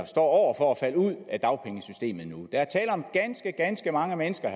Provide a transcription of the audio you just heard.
står over for at falde ud af dagpengesystemet nu der er tale om ganske ganske mange mennesker